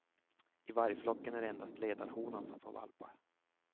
I vargflocken är det endast ledarhonan som får valpar.